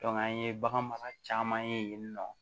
an ye bagan mara caman ye yen nɔ